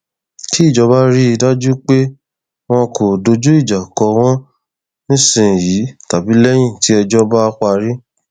kí ìjọba rí i dájú pé wọn kò dojú ìjà kọ wọn nísìnyìí tàbí lẹyìn tí ẹjọ bá parí